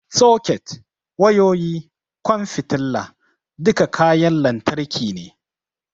Soket, wayoyi, ƙwan fitila, duka kayan lantarki ne.